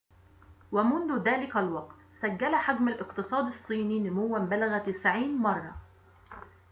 ومنذ ذلك الوقت سجّل حجم الاقتصاد الصيني نمواً بلغ 90 مرة